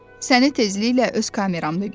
Səni tezliklə öz kameramda gözləyirəm.